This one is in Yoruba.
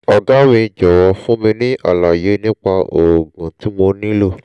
ọ̀gá mi jọ̀wọ́ fún mi ní àlàyé nípa oògùn tí mo nílò